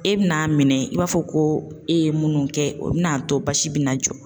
E bɛ n'a minɛ i b'a fɔ ko e ye munnu kɛ o bɛna a to basi bɛ na jɔ .